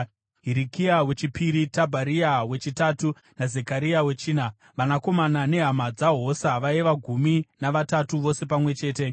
Hirikia wechipiri, Tabharia wechitatu naZekaria wechina. Vanakomana nehama dzaHosa vaiva gumi navatatu vose pamwe chete.